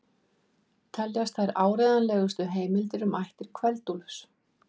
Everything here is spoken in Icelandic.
Teljast þær áreiðanlegustu heimildir um ættir Kveld-Úlfs.